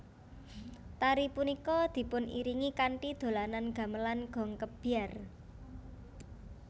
Tari punika dipuniringi kanthi dolanan gamelan gong kebyar